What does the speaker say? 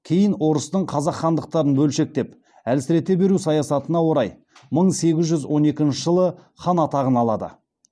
кейін орыстың қазақ хандықтарын бөлшектеп әлсірете беру саясатына орай мың сегіз жүз он екінші жылы хан атағын алады